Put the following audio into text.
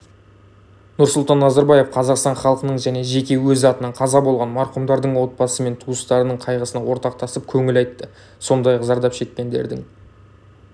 нұрсұлтан назарбаев қазақстан халқының және жеке өз атынан қаза болған марқұмдардың отбасы мен туыстарының қайғысына ортақтасып көңіл айтты сондай-ақ зардап шеккендердің